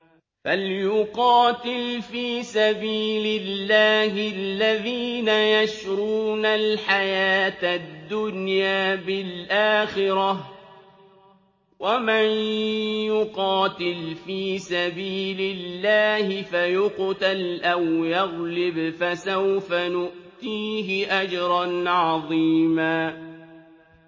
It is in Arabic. ۞ فَلْيُقَاتِلْ فِي سَبِيلِ اللَّهِ الَّذِينَ يَشْرُونَ الْحَيَاةَ الدُّنْيَا بِالْآخِرَةِ ۚ وَمَن يُقَاتِلْ فِي سَبِيلِ اللَّهِ فَيُقْتَلْ أَوْ يَغْلِبْ فَسَوْفَ نُؤْتِيهِ أَجْرًا عَظِيمًا